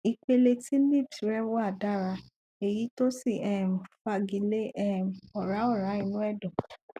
ìpele tí lipd rẹ wà dára èyí tó sì um fagilé um ọrá ọrá inú ẹdọ